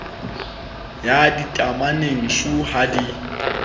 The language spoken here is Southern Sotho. ya ditameneng shu ha di